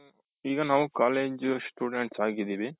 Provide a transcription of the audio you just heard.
ಈಗ ನಾವು college students ಆಗಿದ್ದೀವಿ.